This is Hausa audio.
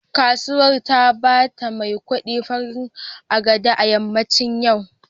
Kasuwar ta bata maikudi farin agbada a yammacin yau